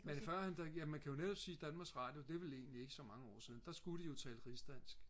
men førhen der ja man kan jo netop sige Danmarks Radio det er vel egentlig ikke så mange år siden der skulle de jo tale rigsdansk